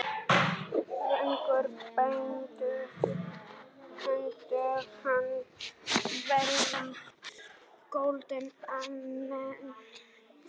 Fengu bændur hana venjulega goldna með fiskæti.